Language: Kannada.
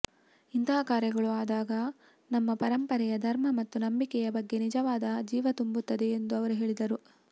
ಇಂತಹ ಕಾರ್ಯಗಳು ಆದಾಗ ನಮ್ಮ ಪರಂಪರೆಯ ಧರ್ಮ ಮತ್ತು ನಂಬಿಕೆಯ ಬಗ್ಗೆ ನಿಜವಾದ ಜೀವತುಂಬುತ್ತದೆ ಎಂದು ಅವರು ಹೇಳಿದರು